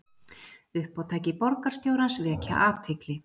Uppátæki borgarstjórans vekja athygli